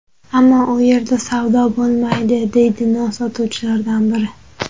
Ammo u yerda savdo bo‘lmaydi, - deydi non sotuvchilardan biri.